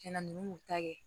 Cɛn na n'u y'u ta kɛ